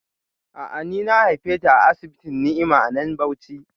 A'a, ni na haife ta a asibitin Ni'ima a nan Bauchi